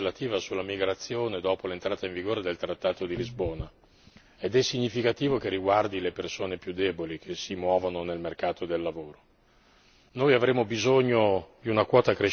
Peraltro, come è già stato detto, è la prima misura legislativa sulla migrazione, dopo l'entrata in vigore del trattato di Lisbona, ed è significativo che riguardi le persone più deboli che si muovono nel mercato del lavoro.